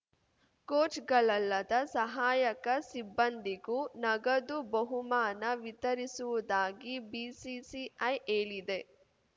ಕೋಚ್‌ಗಳಲ್ಲದ ಸಹಾಯಕ ಸಿಬ್ಬಂದಿಗೂ ನಗದು ಬಹುಮಾನ ವಿತರಿಸುವುದಾಗಿ ಬಿಸಿಸಿಐ ಹೇಳಿದೆ